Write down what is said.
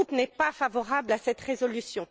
Mon groupe n'est pas favorable à cette résolution.